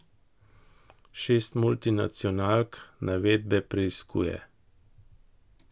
Šest multinacionalk navedbe preiskuje.